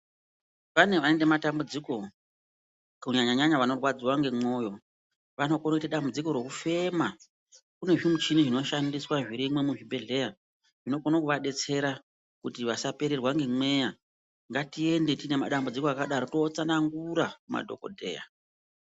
Pane vaite matambudziko ku nyanya nyanya vano rwadziwa nge mwoyo vano kone kuite dambudziko reku fema kune zvi muchini zvino shandiswa zvirimwo mu zvibhedhleya zvino kone kuva detsera kuti vasa pererwa nge mweya ngati ende tine madambudziko aka daro to tsanangura madhokodheya.